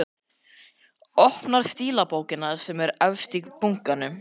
Opnar stílabókina sem er efst í bunkanum.